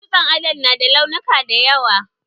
Dutsen adon na da launuka da yawa